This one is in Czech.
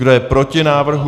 Kdo je proti návrhu?